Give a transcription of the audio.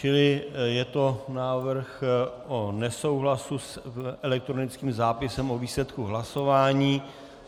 Čili je to návrh o nesouhlasu s elektronickým zápisem o výsledku hlasování.